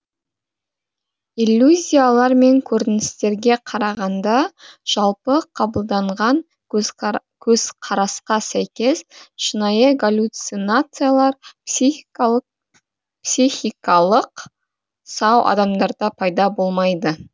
иллюзиялар мен көріністерге қарағанда жалпы қабылданған көзқарасқа сәйкес шынайы галлюцинациялар психикалық сау адамдарда пайда болмайды